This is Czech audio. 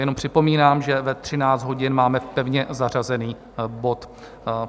Jenom připomínám, že ve 13 hodin máme pevně zařazený bod.